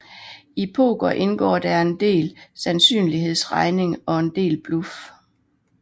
I poker indgår der en del sandsynlighedsregning og en del bluff